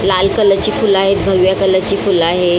लाल कलर ची फुलं आहेत भगव्या कलर ची फुलं आहे.